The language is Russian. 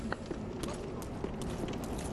подкаст